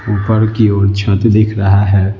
ऊपर की ओर छत दिख रहा है।